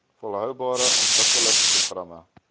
volhoubare ontwikkelings programme